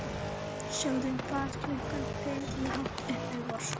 Sögðum fátt klukkan fimm í hátt uppi vorsól.